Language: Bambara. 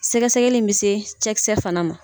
Sɛgɛsɛgɛ in bɛ se cɛkisɛ fana ma.